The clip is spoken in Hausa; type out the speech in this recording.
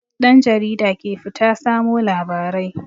Ɗan jarida ke fita samo labarai.